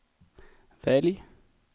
välj